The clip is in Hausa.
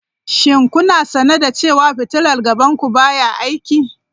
Shin kuna sane da cewa fitilar gaban ku baya aiki?